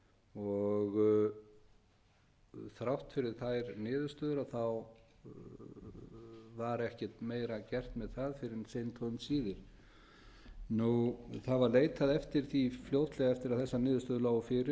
kílómetra þykk og þrátt fyrir þær niðurstöður var ekkert meira gert með það fyrr en seint og um síðir það var leitað eftir því fljótlega eftir að þessar niðurstöður lágu fyrir